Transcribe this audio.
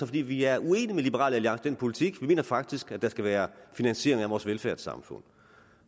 fordi vi er uenige med liberal alliance i den politik vi mener faktisk at der skal være finansiering af vores velfærdssamfund